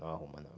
Não arruma não.